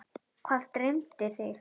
Hvað dreymdi þig?